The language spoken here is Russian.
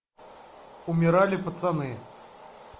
умирали пацаны